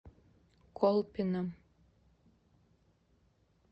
колпино